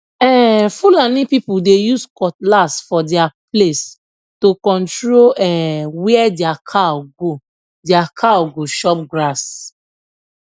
um fulani people dey use cutlass for their place to control um where their cow go their cow go chop grass